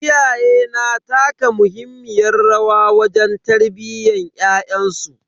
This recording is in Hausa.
Iyaye na taka muhimmiyar rawa wajen tarbiyyan ƴaƴansu.